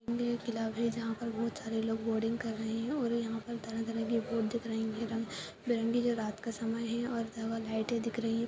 ये एक तालाब है जहाँ पर बहोत सारे लोग बोटिंग कर रहे हैं और यहाँ पर तरह-तरह के बोट दिख रही हैं रंग बिरंगे जो रात का समय है और डबल लाइटे दिख रही हैं।